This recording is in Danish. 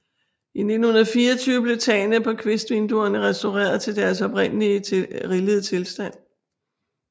I 1924 blev tagene på kvistvinduerne restaureret til deres oprindelige rillede tilstand